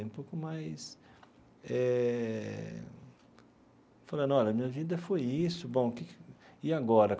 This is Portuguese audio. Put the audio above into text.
Um pouco mais eh... Falando, olha, minha vida foi isso, bom que que, e agora?